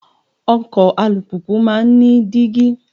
Ọkọ̀ alùpùpù máa ń ní dígí.